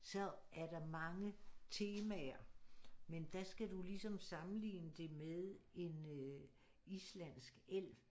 Så er der mange temaer men der skal du ligesom sammenligne det med en islandsk elv